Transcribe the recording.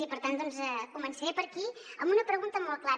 i per tant doncs començaré per aquí amb una pregunta molt clara